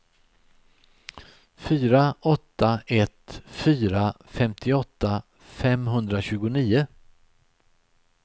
fyra åtta ett fyra femtioåtta femhundratjugonio